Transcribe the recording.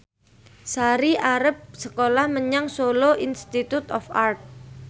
Sari arep sekolah menyang Solo Institute of Art